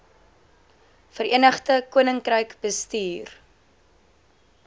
verenigde koninkryk bestuur